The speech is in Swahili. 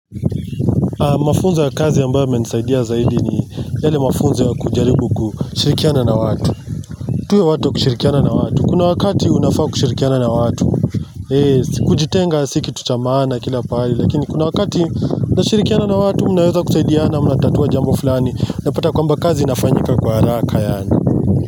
Mafunzo ya kazi ambayo yamenisaidia zaidi ni yale mafunzo ya kujaribu kushirikiana na watu tuwe watu wa kushirikiana na watu kuna wakati unafaa kushirikiana na watu si kujitenga si kitu cha maana kila pahali lakini kuna wakati na kushirikiana na watu mnaweza kusaidiana na watu mna tatua jambo fulani unapata kwamba kazi inafanyika kwa haraka yaani.